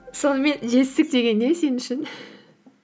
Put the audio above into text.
сонымен жетістік деген не сен үшін